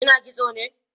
kina kitso ne?